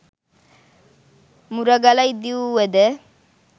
මුරගල ඉදිවූවද